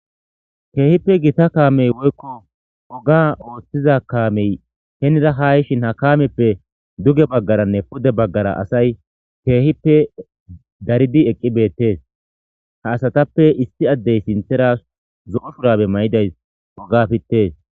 Keehippe gita kaamey woykko oga ooththiza kaamey henira ha yishin ha kaamepe duge bagaaranne pude bagaara asay keehippe daridi eqqi beetees; ha asatappe issi addey sinththera zo'o shurabe mayidayssi oga pittes.